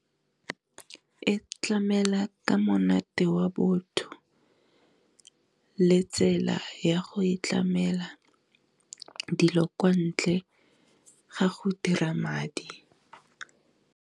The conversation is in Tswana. E tlamela ka monate wa botho le tsela ya go e tlamela dilo kwa ntle ga go dira madi.